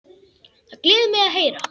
Það gleður mig að heyra.